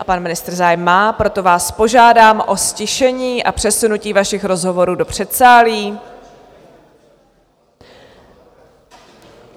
A pan ministr zájem má, proto vás požádám o ztišení a přesunutí vašich rozhovorů do předsálí!